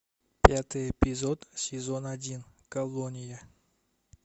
пятый эпизод сезон один колония